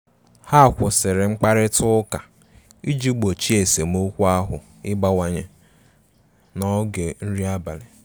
Ha kwụsịrị mkparịta ụka iji gbochie esemokwu ahu ịbawanye n'oge nri abalị.